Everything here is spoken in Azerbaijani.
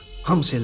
Hamısı elədi.